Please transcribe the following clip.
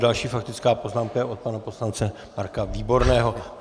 Další faktická poznámka je od pana poslance Marka Výborného.